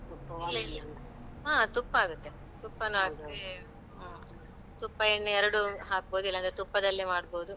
ಇಲ್ಲ ಇಲ್ಲ ಹಾ ತುಪ್ಪ ಆಗುತ್ತೆ. ತುಪ್ಪನು ಹಾಕಿ ಹ್ಮ್ ತುಪ್ಪ ಎಣ್ಣೆ ಎರಡೂ ಹಾಕ್ಬೋದು. ಇಲ್ಲಾಂದ್ರೆ ತುಪ್ಪದಲ್ಲೇ ಮಾಡ್ಬೋದು.